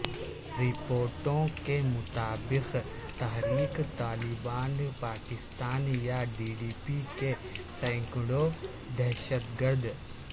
رپورٹوں کے مطابق تحریک طالبان پاکستان یا ٹی ٹی پی کے سینکڑوں دہشت گرد